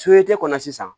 kɔnɔ sisan